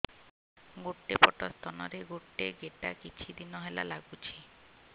ଗୋଟେ ପଟ ସ୍ତନ ରେ ଗୋଟେ ଗେଟା କିଛି ଦିନ ହେଲା ଲାଗୁଛି